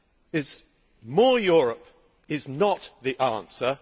is more Europe is not the answer